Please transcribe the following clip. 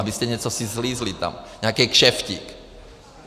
Abyste něco si slízli tam, nějakej kšeftík.